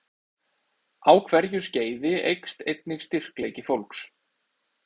Á hverju skeiði eykst einnig styrkleiki fólks.